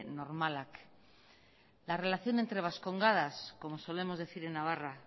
normalak la relación entre vascongadas como solemos decir en navarra